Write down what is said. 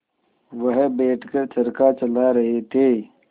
वह बैठ कर चरखा चला रहे थे